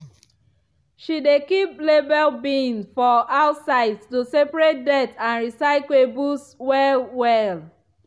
she dey keep labeled bins for outside to separate dirt and recyclables well-well.